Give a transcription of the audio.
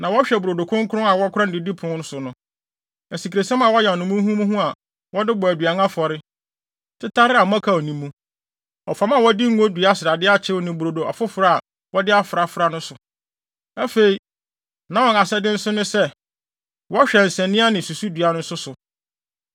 Na wɔhwɛ brodo kronkron a wɔkora no didipon so no, asikresiam a wɔayam no muhumuhu a wɔde bɔ aduan afɔre, tetare a mmɔkaw nni mu, ɔfam a wɔde ngo dua srade akyew ne brodo afoforo a wɔde afrafra no so. Afei, na wɔn asɛde bi nso ne sɛ, wɔhwɛ nsania ne susudua nso so.